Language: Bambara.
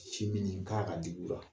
Sin min k'a ka digi u la